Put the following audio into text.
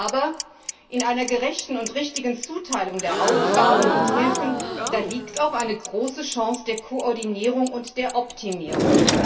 Aber in einer gerechten und richtigen Zuteilung der Aufgaben und Hilfen liegt auch eine große Chance der Koordinierung und der Optimierung.